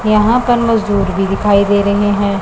यहां पर मजदूर भी दिखाई दे रहे हैं।